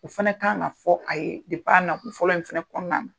O fana kan ka fɔ a ye nako fɔlɔ in fana kɔnɔna na